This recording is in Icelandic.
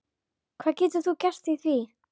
Hvað getur þú gert í því?